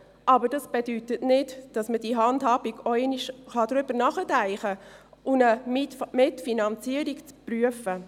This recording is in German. Aber dies bedeutet nicht, dass man nicht über diese Handhabung nachdenken kann und eine Mitfinanzierung prüft.